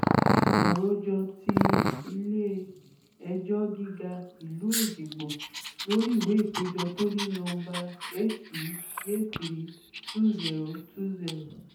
àròjọ ti ilé-ẹjọ́ gíga ìlú èjìgbò lórí ìwé ìpéjọ tó ní nọmba hej32020